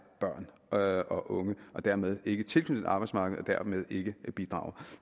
børn og og unge og dermed ikke tilknyttet arbejdsmarkedet og dermed ikke bidrager